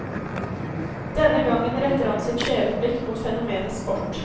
Denne gangen retter han sitt skjeve blikk mot fenomenet sport.